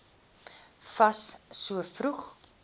fas so vroeg